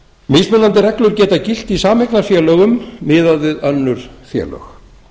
mismunandi reglur geta gilt í sameignarfélögum miðað við önnur félög